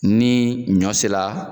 Ni ɲɔ sera